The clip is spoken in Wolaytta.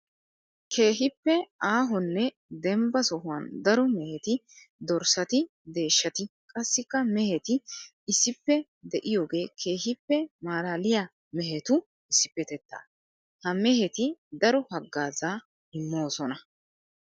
Keehippe aahonne dembba sohuwan daro mehetti dorssatti deeshshatti qassikka mehetti issippe de'iyooge keehippe malaaliya mehettu issipetetta. Ha mehetti daro hagaaza immosonna.